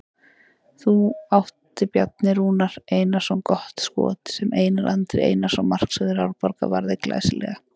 Þá átti Bjarni Rúnar Einarsson gott skot sem Einar Andri Einarsson markvörður Árborgar varði glæsilega.